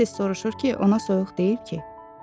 Tez-tez soruşur ki, ona soyuq deyil ki?